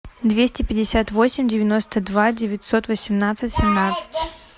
двести пятьдесят восемь девяносто два девятьсот восемнадцать семнадцать